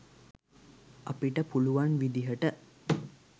අපිට පුළුවන් විදිහට